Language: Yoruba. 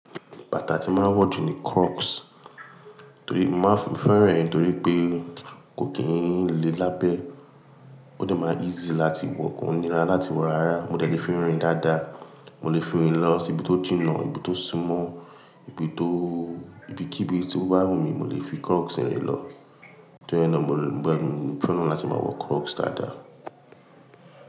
Bàtà tí máa ń wọ̀ jù ni Crocs, torí máa ń fẹ́rẹ̀ torí pé kò kí ń le lábẹ́. Ó dẹ má easy láti wọ̀, kò n nira láti wọ̀ rárá. Mo dẹlẹ fi rìn dáadáa, mo lè fi rìn lọ ibi tó jìnnà, ibi tó súmọ́, ibi tó, ibi kí ibi tó bá wù mí mo lè fi Crocs rìn lọ. Tóri náà mo gbadun, mo fẹ́ràn láti máa wọ Crocs dáadáa.